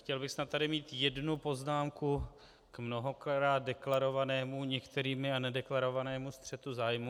Chtěl bych snad tady mít jednu poznámku k mnohokrát deklarovanému některými a nedeklarovanému střetu zájmů.